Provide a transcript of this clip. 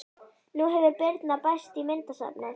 Nú hefur Birna bæst í myndasafnið.